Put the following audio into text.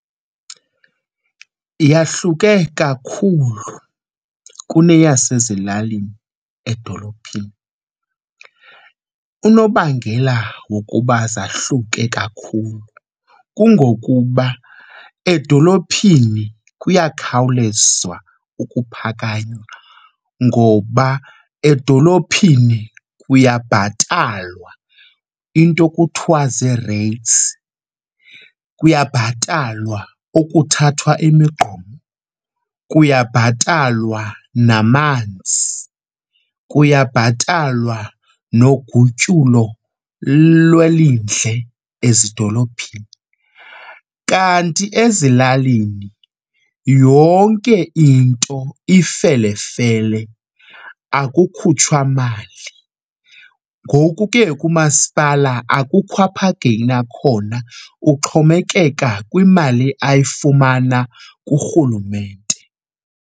Yahluke kakhulu kuneyasezilalini edolophini. Unobangela wokuba zahluke kakhulu kungokuba edolophini kuyakhawulezwa ukuphakanywa ngoba edolophini kuyabhatalwa into ekuthwa zii-rates, kuyabhatalwa ukuthathwa imigqomo, kuyabhatalwa namanzi, kuyabhatalwa nogutyulo lwelindle ezidolophini. Kanti ezilalini yonke into ifelefele akukhutshwa mali ngoku ke umasipala akukho apha ageyina khona, uxhomekeka kwimali ayifumana kuRhulumente.